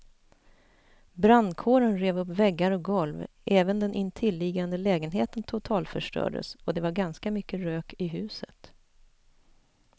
Brandkåren rev upp väggar och golv, även den intilliggande lägenheten totalförstördes och det var ganska mycket rök i huset.